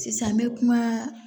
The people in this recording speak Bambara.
Sisan an bɛ kuma